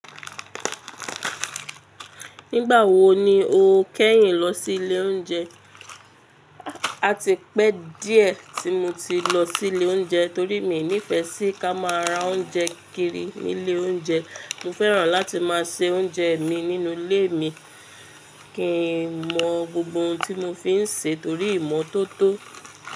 Nígbà wo ni o kẹ́yìn lọ sí ilé oúnjẹ? A ti pẹ́ díẹ̀ tí mo ti lọ sí ilé oúnjẹ torí mi nífẹ́ sí ká máa ra oúnjẹ kiri ní ilé oúnjẹ. Mo fẹ́ràn láti máa se oúnjẹ mi nínú ilé mi kí n mọ gbogbo ohun tí mo fi ń ṣe torí ìmọ́tótó.